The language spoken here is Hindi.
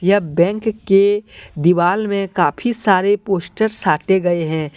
यह बैंक के दीवाल में काफी सारे पोस्टर्स साटे गए हैं।